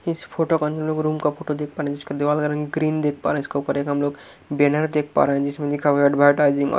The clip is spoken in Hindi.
इस फोटो का अंदर लोग रूम का फोटो देख पा रहे जिसके दीवाल का रंग ग्रीन देख पा रहे इसका ऊपर एक हम लोग बैनर देख पा रहे हैं जिसमें लिखा हुआ एडवरटाइजिंग और--